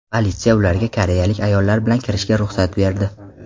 Politsiya ularga koreyalik ayollar bilan kirishiga ruxsat berdi.